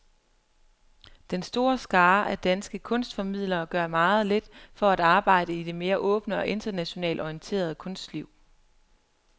Den store skare af danske kunstformidlere gør meget lidt for at arbejde i det mere åbne og internationalt orienterede kunstliv.